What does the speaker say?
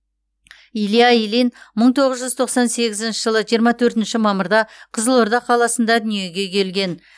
илья ильин мың тоғыз жүз тоқсан сегізінші жылы жиырма төртінші мамырда қызылорда қаласында дүниеге келген